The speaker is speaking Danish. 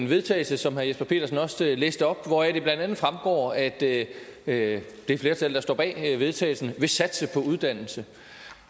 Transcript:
vedtagelse som herre jesper petersen også læste op hvoraf det blandt andet fremgår at det det flertal der står bag forslaget vedtagelse vil satse på uddannelse